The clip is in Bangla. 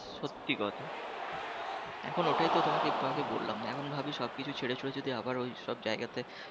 সত্যি কথা এখন ওটাই তো তোমাকে একটু আগে বললাম এখন ভাবে সবকিছু ছেড়েছুড়ে যদি আবার ওইসব জায়গাতে